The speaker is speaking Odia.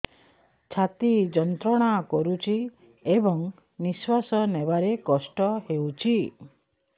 ଛାତି ଯନ୍ତ୍ରଣା କରୁଛି ଏବଂ ନିଶ୍ୱାସ ନେବାରେ କଷ୍ଟ ହେଉଛି